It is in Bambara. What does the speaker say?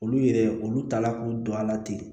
Olu yɛrɛ olu taala k'u don a la ten